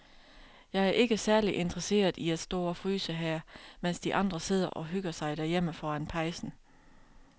Jeg er ikke særlig interesseret i at stå og fryse her, mens de andre sidder og hygger sig derhjemme foran pejsen.